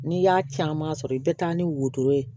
N'i y'a caman sɔrɔ i bɛ taa ni wotoro ye